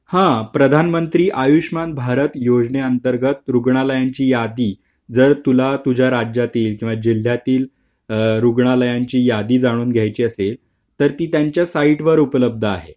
हा प्रधानमंत्री आयुष्यमान भारत योजना अंतर्गत रुग्णालयाची यादी जर तुला तुझ्या राज्यातील यांच्या जिल्ह्यातील रुग्णालयाची यादी जाणून घ्यायचे असेल तर ती त्यांच्या साईटवर उपलब्ध आहे